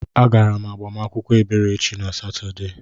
Agara m agbamakwụkwọ Eberechi na Satọde.